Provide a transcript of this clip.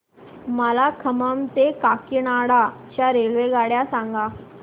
मला खम्मम ते काकीनाडा च्या रेल्वेगाड्या सांगा